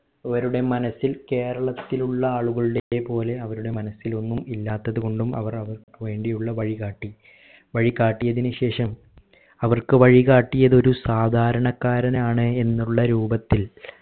അവരുടെ മനസ്സിൽ കേരത്തിലുള്ള ആളുകളുടെ പോലെ അവരുടെ മനസ്സിൽ ഒന്നും ഇല്ലാത്തത് കൊണ്ടും അവർ അവർക്ക് വേണ്ടി ഉള്ള വഴികാട്ടി വഴികാട്ടിയതിനു ശേഷം അവർക്ക് വഴികാട്ടിയത് ഒരു സാധാരണക്കാരനാണ് എന്നുള്ള രൂപത്തിൽ